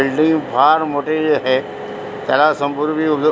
building फार मोठी आहे त्याला संपूर्ण --